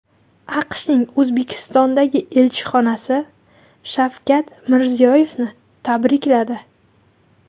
AQShning O‘zbekistondagi elchixonasi Shavkat Mirziyoyevni tabrikladi.